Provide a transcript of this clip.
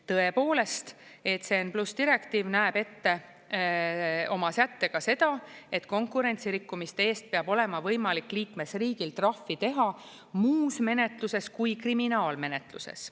Tõepoolest, ECN+ direktiiv näeb ette oma sättega seda, et konkurentsi rikkumiste eest peab olema võimalik liikmesriigil trahvi teha muus menetluses kui kriminaalmenetluses.